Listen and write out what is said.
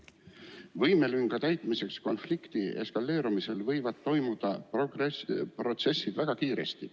Mis puutub võimelünga täitmisse, siis konflikti eskaleerumisel võivad protsessid toimuda väga kiiresti.